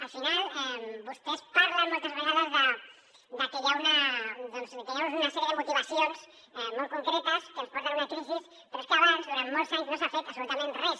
al final vostès parlen moltes vegades de que hi ha una sèrie de motivacions molt concretes que ens porten a una crisi però és que abans durant molts anys no s’ha fet absolutament res